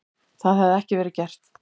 Það hefði ekki verið gert.